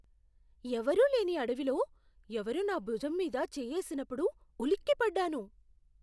ఎవరూ లేని అడవిలో ఎవరో నా భుజం మీద చేయ్యేసినప్పుడు ఉలిక్కిపడ్డాను.